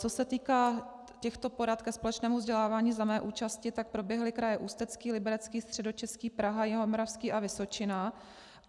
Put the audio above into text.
Co se týká těchto porad ke společnému vzdělávání za mé účasti, tak proběhly kraje Ústecký, Liberecký, Středočeský, Praha, Jihomoravský a Vysočina.